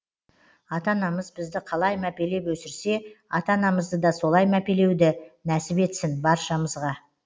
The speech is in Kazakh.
ата анамыз бізді қалай мәпелеп өсірсе ата анамызды да солай мәпелеуді нәсіп етсін баршамызға